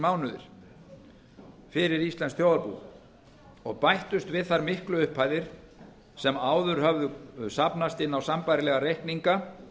mánuðir fyrir íslenskt þjóðarbú og bættust við þær miklu upphæðir sem áður höfðu safnast inn á sambærilega reikninga